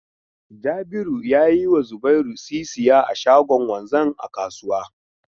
Jabiru ya yi wa Zubairu sisiya a shagon wanzan a kasuwa.